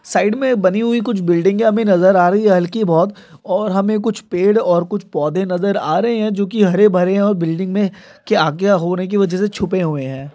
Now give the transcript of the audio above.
side मे बनी हुई कुछ बिल्डिंगे हमे नजर आ रही हल्की बोहोत | और हमे कुछ पेड़ और कुछ पौधे नजर आ रहे है जो की हरेभरे है| और बिल्डिंग मे के आग या होने के वजह से छुपे हुवे हैं|